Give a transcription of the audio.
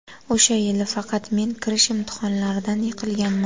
O‘sha yili faqat men kirish imtihonlaridan yiqilganman.